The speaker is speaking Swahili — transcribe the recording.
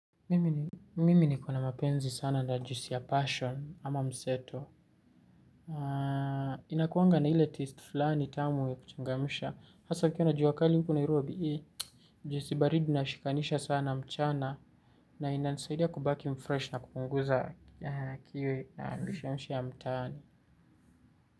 Mimi nikona mapenzi sana na juisi ya passion ama mseto. Inakuanga na ile taste fulani tamu ya kuchangamsha. Hasa ikiwa na jua kali huku nairobi hii. Juisi baridi nashikanisha sana mchana. Na inanisaidia kubaki mfresh na kupunguza kiu na mishe mishe ya mtaani.